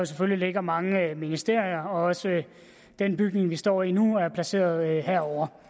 selvfølgelig ligger mange ministerier og også den bygning vi står i nu er placeret herovre